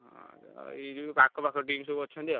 ଆଁ ଏଇ ଯୋଉ ପାଖ ପାଖ team ସବୁ ଅଛନ୍ତି ଆଉ।